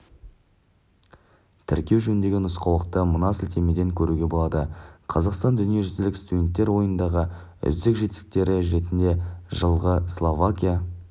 тіркеу жөніндегі нұсқаулықты мына сілтемеден көруге болады қазақстанның дүниежүзілік студенттер ойынындағы үздік жетістіктері ретінде жылғы словакия